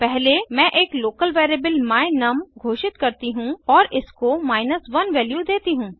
पहले मैं एक लोकल वेरिएबल my num घोषित करती हूँ और इसको 1 वैल्यू देती हूँ